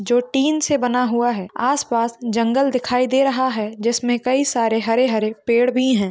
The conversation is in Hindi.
जो टीन से बना हुआ है आसपास जंगल दिखाई दे रहा है जिसमे कई सारे हरे-हरे पेड़ भी है।